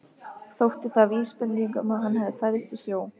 Þótti það vísbending um að hann hefði fæðst í sjó.